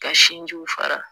Ka sinjiw fara.